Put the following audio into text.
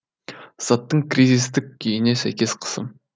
заттың кризистік күйіне сәйкес қысым